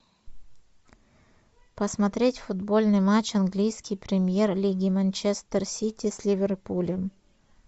посмотреть футбольный матч английской премьер лиги манчестер сити с ливерпулем